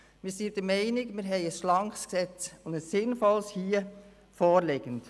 Wir sind der Meinung, dass uns ein schlankes und sinnvolles Gesetz vorliegt.